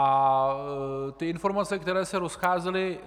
A ty informace, které se rozcházely.